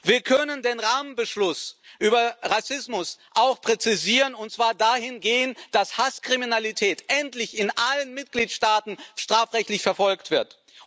Wir können den Rahmenbeschluss über Rassismus auch präzisieren und zwar dahingehend, dass Hasskriminalität endlich in allen Mitgliedstaaten strafrechtlich verfolgt wird.